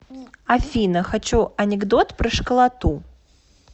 афина хочу анекдот про школоту